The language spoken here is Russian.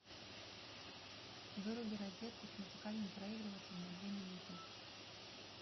выруби розетку с музыкальным проигрывателем на две минуты